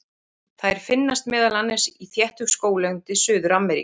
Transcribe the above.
Þær finnast meðal annars í þéttu skóglendi Suður-Ameríku.